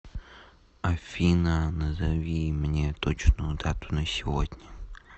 афина назови мне точную дату на сегодня